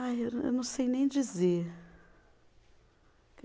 Ai, eu não, eu não sei nem dizer.